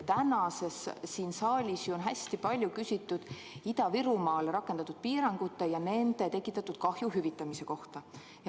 Täna siin saalis on hästi palju küsitud Ida-Virumaal rakendatud piirangute ja nende tekitatud kahju hüvitamise kohta.